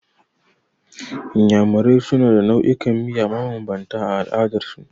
Iyamurai suna da nau'ikan miya mabambanta a al'adar su.